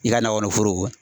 I ka nagɔnɔ foro